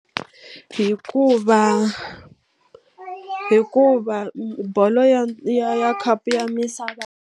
Hikuva hikuva bolo ya ya ya khapu ya misava.